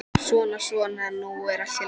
Svona, svona, nú er allt í lagi.